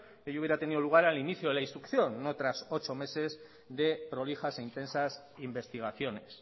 hoy hubiera tenido lugar al inicio de la instrucción no tras ocho meses de prolijas e intensas investigaciones